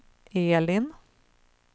Elin